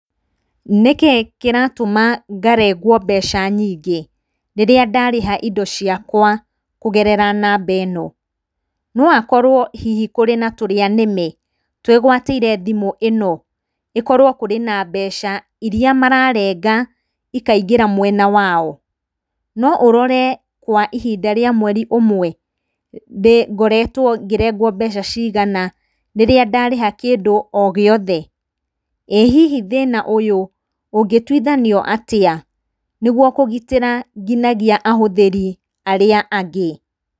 Nĩkĩĩ kĩratũma ngarengwo mbeca nyingĩ rĩrĩa ndarĩha indo ciakwa kũgerera namba ĩno? No akorwo hihi kũrĩ na tũrĩanĩme twĩgwatĩire thimũ ĩno ĩkorwo kũrĩ na mbeca iria mararenga ikaingĩra mwena wao? No ũrore kwa ihinda rĩa mweri ũmwe ngoretwo ngĩrengwo mbeca cigana rĩrĩa ndarĩha kĩndũ o gĩothe? ĩ hihi thĩna ũyũ ũngĩtuithanio atĩa nĩguo kũgitĩra nginyagia ahũthĩri arĩa angĩ?